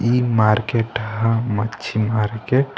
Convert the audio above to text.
ई मार्केट हा मच्छी मार्केट ।